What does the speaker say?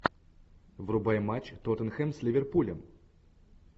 врубай матч тоттенхэм с ливерпулем